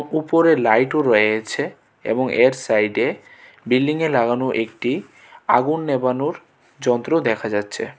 উপরে লাইটও রয়েছে এবং এর সাইডে বিল্ডিং -এ লাগানো একটি আগুন নেভানোর যন্ত্র দেখা যাচ্ছে.